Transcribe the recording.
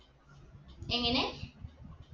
എങ്ങനെ